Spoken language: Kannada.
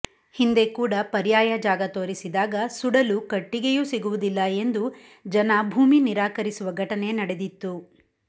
ಹಿಂದೆ ಕೂಡ ಪರ್ಯಾಯ ಜಾಗ ತೋರಿಸಿದಾಗ ಸುಡಲು ಕಟ್ಟಿಗೆಯೂ ಸಿಗುವುದಿಲ್ಲ ಎಂದು ಜನ ಭೂಮಿ ನಿರಾಕರಿಸುವ ಘಟನೆ ನಡೆದಿತ್ತು